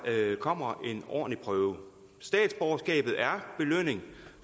kommer en ordentlig prøve statsborgerskabet er belønning